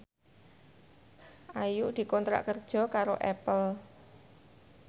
Ayu dikontrak kerja karo Apple